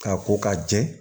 K'a ko ka jɛ